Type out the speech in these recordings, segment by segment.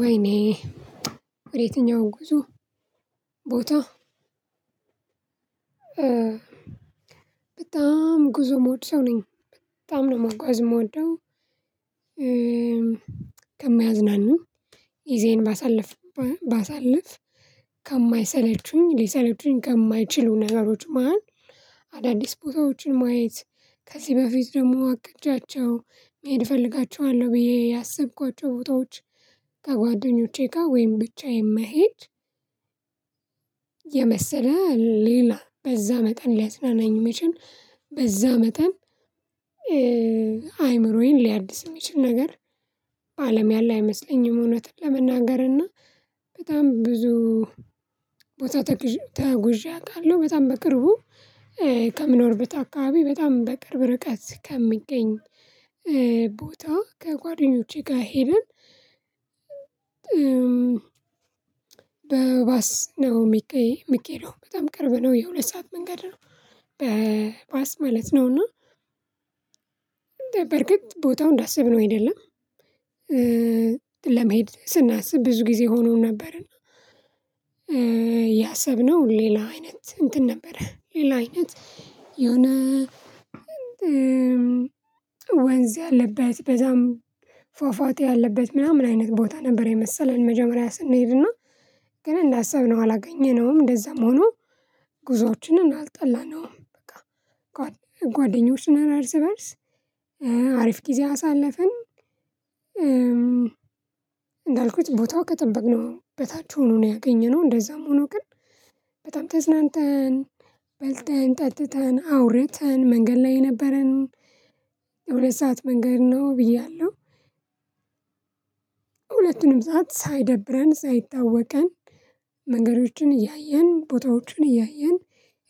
ወይኔ ወደ የትኛው ጉዞ ቦታ በጣም ጉዞ ምወድ ሰው ነኝ በጣም ነው መጓዝ የምወደው። ከማያዝናኑኝ ጊዜዬን ባሳለፍ ባሳለፍ ከማይሰለቹኝ ሊሰለቹኝ ከማይችሉ ነገሮች መሃል አዳዲስ ቦታዎችን ማየት ከዚህ በፊት ደግሞ አቅጃቸው መሄድ እፈልጋቸዋለሁ ብዬ ያሰብኳቸው ቦታዎች ከጓደኞቼ ጋር ወይም ብቻዬን መሄድ። የመሰለ ሌላ በዛ መጠን ሊያዝናናኝ የሚችል በዛ መጠን አይምሮዬን ሊያድስ የሚችል ነገር አለም ያለ አይመስለኝም። እውነትን ለመናገር እና በጣም ብዙ ቦታ ተጉዤ አውቃለሁ። በጣም በቅርቡ ከምኖርበት አካባቢ በጣም በቅርብ ርቀት ከሚገኝ ቦታ ከጓደኞቼ ጋር ሄደን በባስ ነው የሚኬደው በጣም ቅርብ ነው የሁለት ሰዓት መንገድ ነው። በባስ ማለት ነው እና በእርግጥ ቦታው እንዳሰብነው አይደለም። ለመሄድ ስናስብ ብዙ ጊዜ ሆኖን ነበርን ያሰብነው ሌላ አይነት እንትን ነበረ ሌላ አይነት የሆነ ወንዝ ያለበት በዛም ፏፏቴ ያለበት ምናምን አይነት ቦታ ነበር የመሰለን መጀመሪያ ስንሄድ እና ግን እንዳሰብነው አላገኘነውም እንደዛም ሆኖ ጉዞአችንን አልጠላነውም። ጓደኞችን ነን እርስ በእርስ አሪፍ ጊዜ አሳለፍን። እንዳልኩት ቦታው ከጠበቅነው በታች ሆኖ ነው ያገኘነው እንደዛም ሆኖ ግን በጣም ተዝናንተን በልተን ጠጥተን አውርተን መንገድ ላይ የነበረን የሁለት ሰዓት መንገድ ነው ብያለሁ። ሰዓት ሳይደብረን ሳይታወቀን መንገዶችን እያየን ቦታዎችን እያየን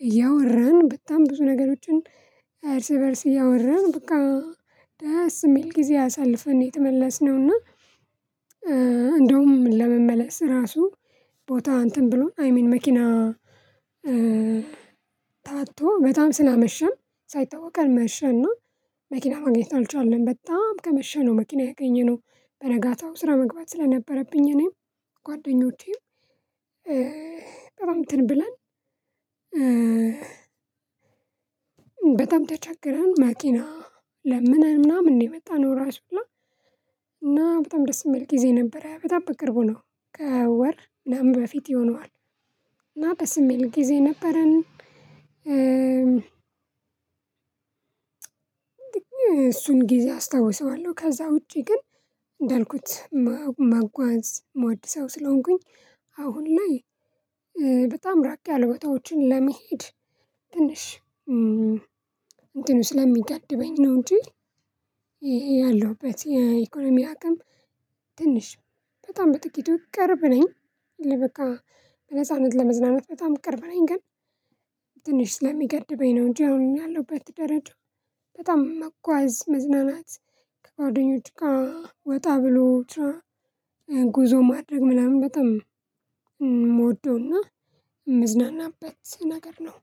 እያወራን በጣም ብዙ ነገሮችን እርስ በእርስ እያወራን በቃ ደስ የሚል ጊዜ አሳልፈን ነው የተመለስነውና። እንደውም ለመመለስ ራሱ ቦታ እንትን ብሎን አይ ሚን መኪና ታጥቶ በጣም ስላመሸን ሳይታወቀን መሸና እና መኪና ማግኘት አልቻልንም በጣም ከመሸ ነው መኪና ያገኘነው። በነጋታው ስራ መግባት ስለነበረብኝ እኔም ጓደኞቼም በጣም እንትን ብለን በጣም ተቸግረን መኪና ለምነን ምናምን ነው የመጣነው። ራሱ እና በጣም ደስ የሚል ጊዜ ነበረ በጣም በቅርቡ ነው ከወር ምናምን በፊት ይሆነዋል እና ደስ እሚል ጊዜ ነበረን። እሱን ጊዜ አስታውሰዋለሁ ከዛ ውጪ ግን እንዳልኩት መጓዝ ምወድ ሰው ስለሆንኩኝ። አሁን ላይ በጣም ራቅ ያለ ቦታዎችን ለመሄድ ትንሽ እንትኑ ስለሚገድበኝ ነው። እንጂ ያለሁበት የኢኮኖሚ አቅም ትንሽ በጣም በጥቂቱ ቅርብ ነኝ ለበቃ በነጻነት ለመዝናናት በጣም ቅርብ ነኝ ግን ትንሽ ስለሚገድበኝ ነው። እንጂ አሁን ያለሁበት ደረጃ በጣም መጓዝ መዝናናት ከጓደኞች ጋር ወጣ ብሎ ብቻ ጉዞ ማድረግ ምናምን በጣም እምወደውና እምዝናናበት ነገር ነው።